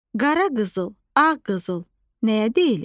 Qara qızıl, ağ qızıl nəyə deyilir?